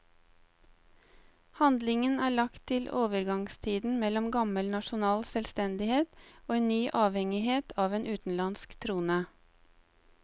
Handlingen er lagt til overgangstiden mellom gammel nasjonal selvstendighet og en ny avhengighet av en utenlandsk trone.